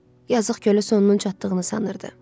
Yazıq Kölə sonunun çatdığını sanırdı.